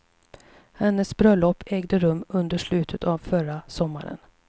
Hennes bröllop ägde rum under slutet av förra sommaren.